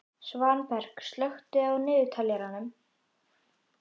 Svanberg, slökktu á niðurteljaranum.